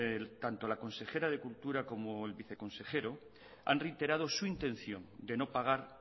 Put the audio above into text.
tanto la consejera de cultura como el viceconsejero han reiterado su intención de no pagar